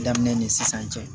Daminɛ ni sisan cɛ